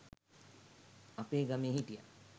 අපේ ගමේ හිටියා